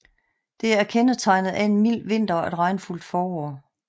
Det er kendetegnet af en mild vinter og et regnfuldt forår